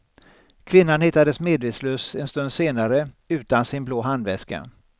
Kvinnan hittades medvetslös en stund senare utan sin blå handväska.